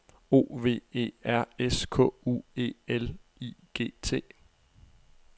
O V E R S K U E L I G T